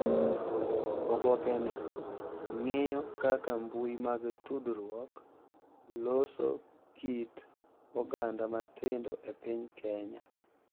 Oboke ni ng’iyo kaka mbui mag tudruok loso kit oganda matindo e piny Kenya,